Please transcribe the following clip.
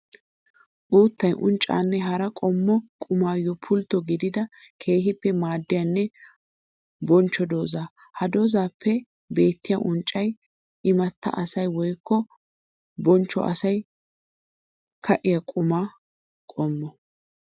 Uuttay unccanne hara qommo qummayo pultto gididda keehippe maadiyanne bonchcho dooza. Ha doozappe beetiya unccay imatta asay woykko bonchcho asawu ka'iya qumma qommo.